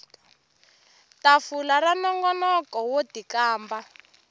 tafula ra nongonoko wo tikamba